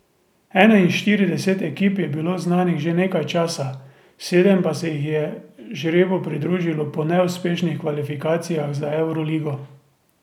Enainštirideset ekip je bilo znanih že nekaj časa, sedem pa se jih je žrebu pridružilo po neuspešnih kvalifikacijah za evroligo.